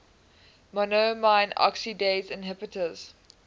monoamine oxidase inhibitors